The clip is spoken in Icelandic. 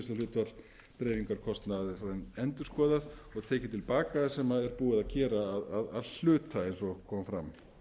niðurgreiðsluhlutfall dreifingarkostnað endurskoðað og tekið til baka sem er búið að gera að hluta eins og kom fram